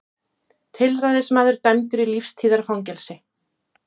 Tilræðismaður dæmdur í lífstíðarfangelsi